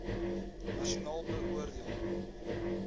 nasionaal beoor deel